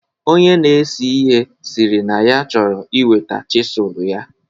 Onye na-ese ihe sịrị na ya chọrọ iweta chisụl ya.